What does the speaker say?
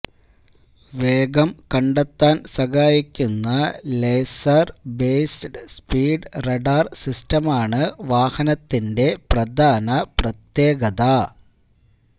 വേഗം കണ്ടെത്താന് സഹായിക്കുന്ന ലേസര് ബേസ്ഡ് സ്പീഡ് റഡാര് സിസ്റ്റമാണു വാഹനത്തിന്റെ പ്രധാന പ്രത്യേകത